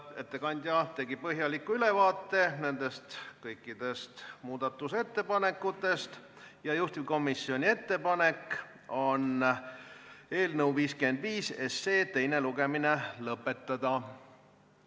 Ettekandja tegi põhjaliku ülevaate kõikidest muudatusettepanekutest ja juhtivkomisjoni ettepanek on eelnõu 55 teine lugemine lõpetada.